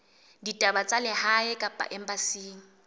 ditaba tsa lehae kapa embasing